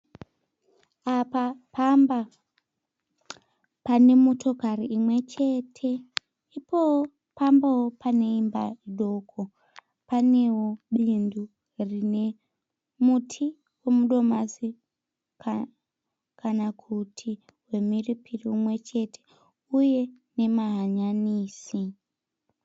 Apa pamba, pane motokari imwe chete, ipowo pambawo pane imba idoko. Panewo bindu rine muti wemudomasi kana kuti wemhiripiri umwe chete, uye nemahanyanisi.